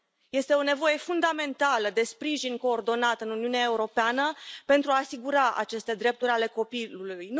Este o nevoie fundamentală de sprijin coordonat în Uniunea Europeană pentru a asigura aceste drepturi ale copilului.